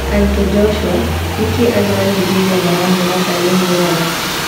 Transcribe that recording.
Anto Jocua: Nĩ kĩĩ andũ a Nainjeria maramuona tarĩ ũmwe wao.